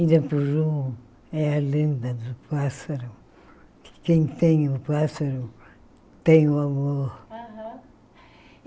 India Pujum é a lenda do pássaro, que quem tem o pássaro tem o amor.